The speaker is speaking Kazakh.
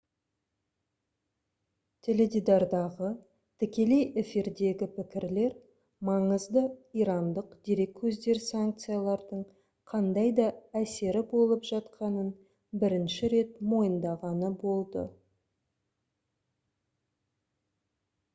теледидардағы тікелей эфирдегі пікірлер маңызды ирандық дерекөздер санкциялардың қандай да әсері болып жатқанын бірінші рет мойындағаны болды